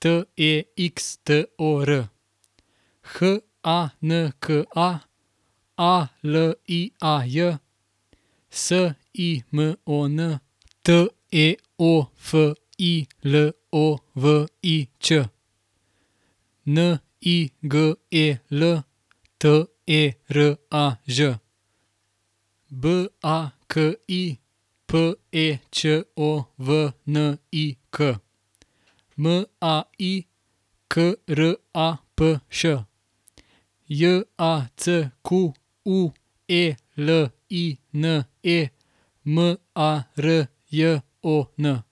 T E X T O R; H A N K A, A L I A J; S I M O N, T E O F I L O V I Ć; N I G E L, T E R A Ž; B A K I, P E Č O V N I K; M A I, K R A P Š; J A C Q U E L I N E, M A R J O N.